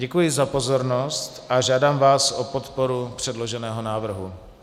Děkuji za pozornost a žádám vás o podporu předloženého návrhu.